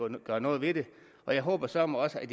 gøre noget ved det og jeg håber søreme også at